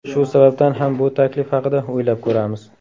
Shu sababdan ham bu taklif haqida o‘ylab ko‘ramiz.